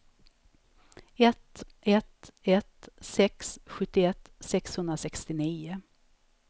ett ett ett sex sjuttioett sexhundrasextionio